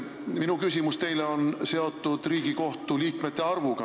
Minu küsimus teile on seotud Riigikohtu liikmete arvuga.